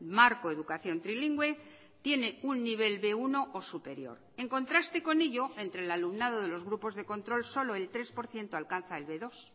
marco educación trilingüe tiene un nivel be uno o superior en contraste con ello entre el alumnado de los grupos de control solo el tres por ciento alcanza el be dos